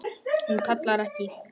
Hún kallar ekki